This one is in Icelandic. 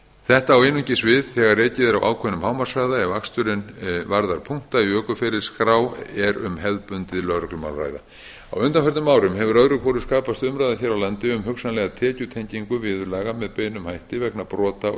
þetta á einungis við þegar ekið er á ákveðnum hámarkshraða ef aksturinn varðar punkta í ökuferilsskrá er um hefðbundið lögreglumál að ræða á undanförnum árum hefur öðru hvoru skapast umræða hér á landi um hugsanlega tekjutengingu viðurlaga með beinum hætti vegna brota á